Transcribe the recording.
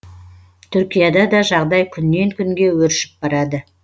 түркияда да жағдай күннен күнге өршіп барады